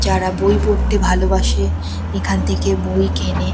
যারা বই পড়তে ভালোবাসে এখান থেকে বই কেনে ।